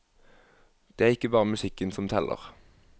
Det er ikke bare musikken som teller.